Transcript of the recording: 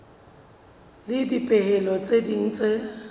le dipehelo tse ding tse